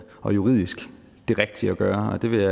og juridisk det rigtige at gøre og det vil